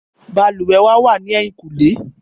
Bàlùwẹ̀ wa wà ní ẹ̀yìnkùlé